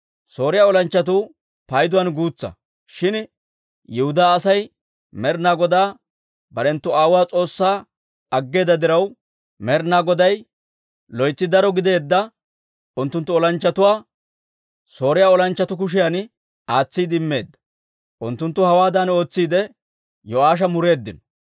Sooriyaa olanchchatuu payduwaan guutsa; shin Yihudaa Aasi Med'inaa Godaa barenttu aawotuwaa S'oossaa aggeeda diraw, Med'inaa Goday loytsi daro gideedda unttunttu olanchchatuwaa Sooriyaa olanchchatuu kushiyan aatsiide immeedda. Unttunttu hawaadan ootsiide, Yo'aasha mureeddino.